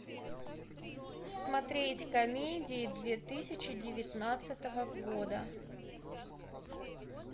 смотреть комедии две тысячи девятнадцатого года